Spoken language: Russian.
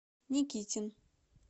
никитин